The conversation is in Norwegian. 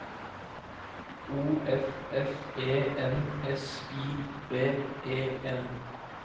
O F F E N S I V E N